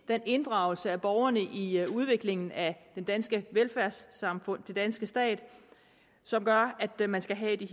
den inddragelse af borgerne i udviklingen af det danske velfærdssamfund den danske stat som gør at man skal have de